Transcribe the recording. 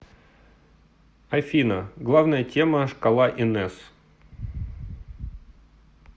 афина главная тема шкала инес